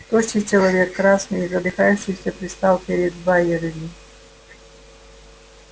тощий человек красный и задыхающийся предстал перед байерли